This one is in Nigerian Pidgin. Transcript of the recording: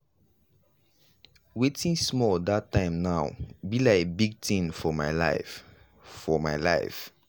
wetin small that time now be lik big tin for my life. for my life.